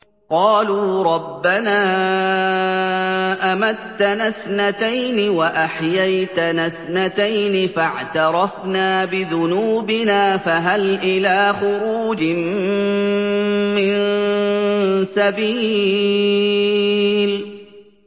قَالُوا رَبَّنَا أَمَتَّنَا اثْنَتَيْنِ وَأَحْيَيْتَنَا اثْنَتَيْنِ فَاعْتَرَفْنَا بِذُنُوبِنَا فَهَلْ إِلَىٰ خُرُوجٍ مِّن سَبِيلٍ